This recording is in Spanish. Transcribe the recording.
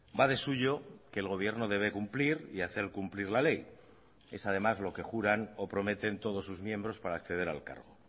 va de suyo que el gobierno debe cumplir y hacer cumplir la ley es además lo que juran o prometen todos sus miembros para acceder al cargo